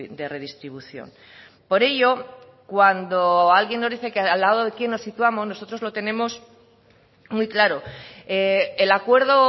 de redistribución por ello cuando alguien nos dice al lado de quién nos situamos nosotros lo tenemos muy claro el acuerdo